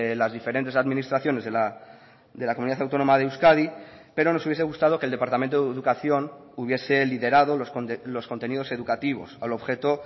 las diferentes administraciones de la comunidad autónoma de euskadi pero nos hubiese gustado que el departamento de educación hubiese liderado los contenidos educativos al objeto